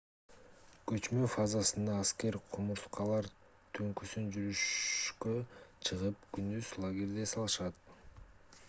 көчмө фазасында аскер кумурскалар түнкүсүн жүрүшкө чыгып күндүз лагерде эс алышат